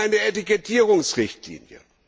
Wir haben eine Etikettierungsrichtlinie.